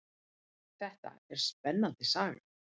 Þetta er spennandi saga.